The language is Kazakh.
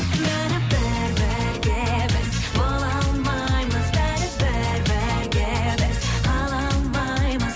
бәрібір бірге біз бола алмаймыз бәрібір бірге біз қала алмаймыз